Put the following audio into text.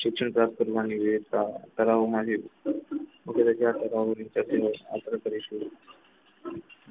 શિક્ષણ પ્રાપ્ત કરવાની વિવિધતા ધરાવવા માટે